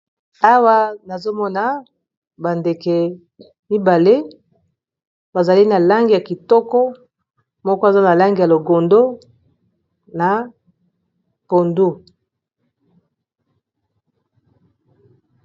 Awa nazomona ba ndeke mibale bazali na langi ya kitoko moko aza na langi ya longondo na pondu.